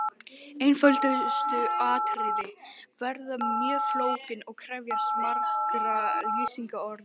Einföldustu atriði verða mjög flókin og krefjast margra lýsingarorða.